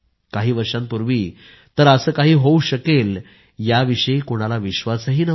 काही वर्षांपूर्वी तर असे काही होवू शकेल याविषयी कोणाला भरवसाही नव्हता